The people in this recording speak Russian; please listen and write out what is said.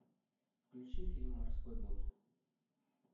включи фильм морской бой